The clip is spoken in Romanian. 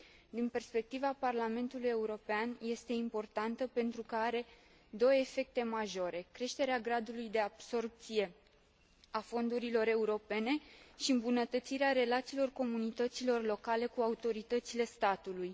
Din perspectiva Parlamentului European, este importantă pentru că are două efecte majore creșterea gradului de absorbție a fondurilor europene și îmbunătățirea relațiilor comunităților locale cu autoritățile statului.